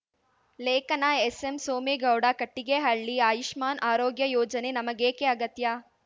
ಲೇಖನ ಎಸ್‌ಎಂ ಸೋಮೇಗೌಡ ಕಟ್ಟಿಗೆಹಳ್ಳಿ ಆಯುಷ್ಮಾನ್‌ ಆರೋಗ್ಯ ಯೋಜನೆ ನಮಗೇಕೆ ಅಗತ್ಯ